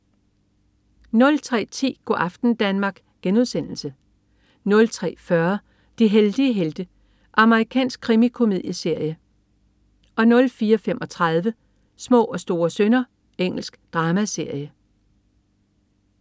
03.10 Go' aften Danmark* 03.40 De heldige helte. Amerikansk krimikomedieserie 04.35 Små og store synder. Engelsk dramaserie